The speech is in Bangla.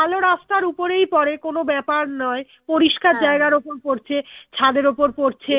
ভালো রাস্তার উপরেই পরে কোনো ব্যাপার নয় পরিষ্কার ওপর পড়ছে ছাদের ওপর পড়ছে